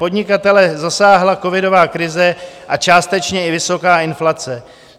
Podnikatele zasáhla covidová krize a částečně i vysoká inflace.